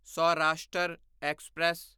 Saurashtra express